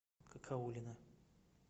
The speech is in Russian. кокоулина